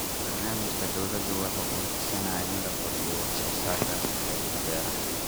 Barnaamijka dawladdu waxa uu higsanayaa in la kordhiyo wax soo saarka qaybta beeraha.